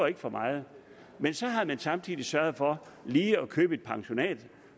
ikke for meget men så havde man samtidig sørget for lige at købe et pensionat